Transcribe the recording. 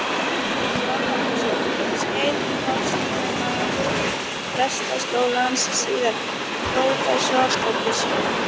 Jón Helgason, um skeið forstöðumaður Prestaskólans, síðar prófessor og biskup.